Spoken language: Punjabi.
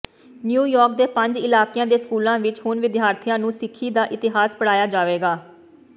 ਨਿਊਯਾਰਕ ਦੇ ਪੰਜ ਇਲਾਕਿਆਂ ਦੇ ਸਕੂਲਾਂ ਵਿੱਚ ਹੁਣ ਵਿਦਿਆਰਥੀਆਂ ਨੂੰ ਸਿੱਖੀ ਦਾ ਇਤਿਹਾਸ ਪੜ੍ਹਾਇਆ ਜਾਵੇਗਾ